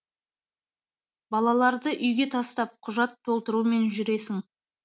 балаларды үйге тастап құжат толтырумен жүресің